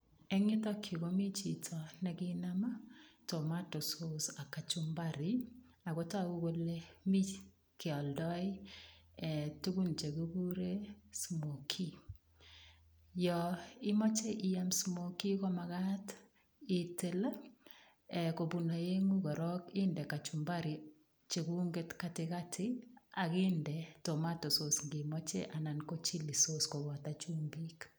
Eng yutok yu komi chito ne kinam tomatosos ak kachumpari ago tagu kole mi chekialdoi tugun che kikuren smokie. Yoimache iyam smokie, komagat itil kobun aengu korok inde kachumpari cheguget katigati ak inde tomatosos ngimoche anan chilisos kobato chumbik.